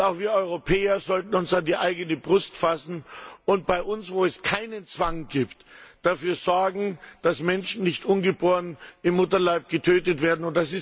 Auch wir Europäer sollten uns an die eigene Brust fassen und bei uns, wo es keinen Zwang gibt, dafür sorgen, dass Menschen nicht ungeboren im Mutterleib getötet werden.